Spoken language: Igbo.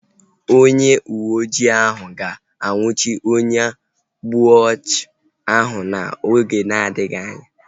Onye uwe ojii ahu ga anwụchi onye ogbu ọchụ ahu oge na-adịghị anya